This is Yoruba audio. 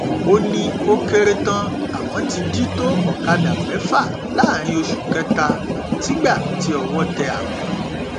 ó ní ó kéré tán àwọn ti jí tó ọkadà mẹfà láàrin oṣù kẹta sígbà tí owó tẹ àwọn